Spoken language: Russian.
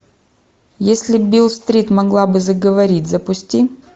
если бил стрит могла бы заговорить запусти